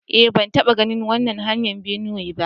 Eh, ban taba ganin irin wannan hanyar binnewa ba.